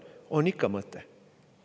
On ikka mõte.